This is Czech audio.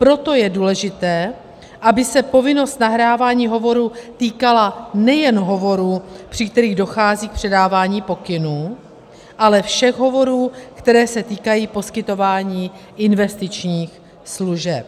Proto je důležité, aby se povinnost nahrávání hovorů týkala nejen hovorů, při kterých dochází k předávání pokynů, ale všech hovorů, které se týkají poskytování investičních služeb.